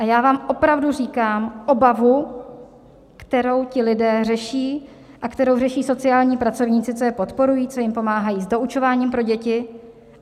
A já vám opravdu říkám obavu, kterou ti lidé řeší a kterou řeší sociální pracovníci, co je podporují, co jim pomáhají s doučováním pro děti.